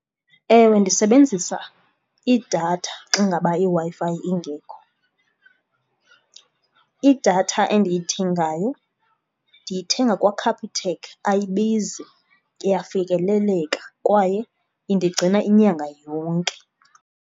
Ewe, ndisebenzisa idatha xa ngaba iWi-Fi ingekho. Idatha endiyithengayo ndiyithenga kwaCapitec, ayibizi, iyafikeleleka kwaye indigcina inyanga yonke.